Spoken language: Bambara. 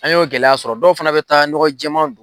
An y'o gɛlɛya sɔrɔ, dɔw fana bɛ taa ɲɔgɔn jɛman